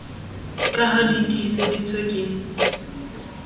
ka ha di tiiseditswe ke